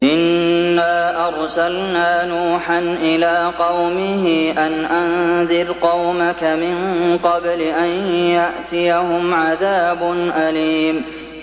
إِنَّا أَرْسَلْنَا نُوحًا إِلَىٰ قَوْمِهِ أَنْ أَنذِرْ قَوْمَكَ مِن قَبْلِ أَن يَأْتِيَهُمْ عَذَابٌ أَلِيمٌ